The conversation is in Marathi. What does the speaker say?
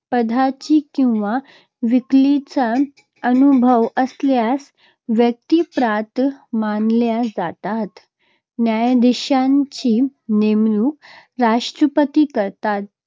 पदाचा किंवा वकिलीचा अनुभव असलेल्या व्यक्ती पात्र मानल्या जातात. न्यायाधीशांची नेमणूक राष्ट्रपती करतात.